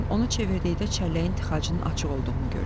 Lakin onu çevirdikdə çəlləyin tıxacının açıq olduğunu gördüm.